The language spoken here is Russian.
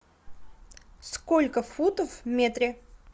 сколько футов в метре